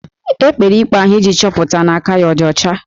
E kpere ikpe ahụ iji chọpụta na aka ya ọ dị ọcha